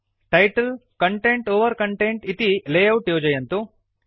title content over content इति layout योजयन्तु